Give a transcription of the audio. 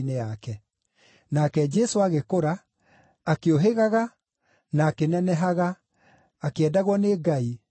Nake Jesũ agĩkũra, akĩũhĩgaga, na akĩnenehaga, akĩendagwo nĩ Ngai, o na andũ.